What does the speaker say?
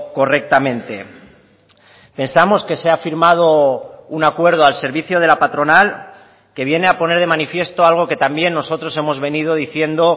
correctamente pensamos que se ha firmado un acuerdo al servicio de la patronal que viene a poner de manifiesto algo que también nosotros hemos venido diciendo